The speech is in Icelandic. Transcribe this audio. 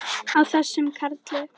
Á þessum karli!